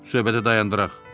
Söhbəti dayandıraq.